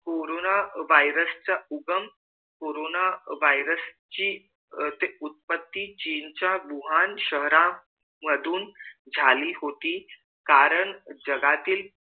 corona virus चा उगम corona virus ची उत्पत्ती चीन च्या भूहान शहरा मधून झाली होती कारण जगातील